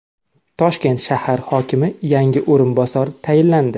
Toshkent shahri hokimiga yangi o‘rinbosar tayinlandi.